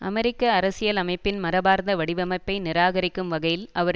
அமெரிக்க அரசியலமைப்பின் மரபார்ந்த வடிவமைப்பை நிராகரிக்கும் வகையில் அவர்